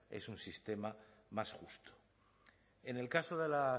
es un sistema más justo en el caso de la